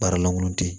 Baara lankolon tɛ